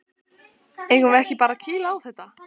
Eigum við ekki bara að kýla á þetta?